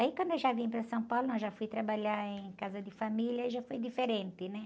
Aí quando eu já vim para São Paulo, não, já fui trabalhar em casa de família, aí já foi diferente, né?